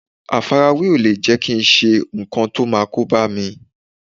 Àfarawé ò lè jẹ́ kí n ṣe nǹkan tó máa kóbá mi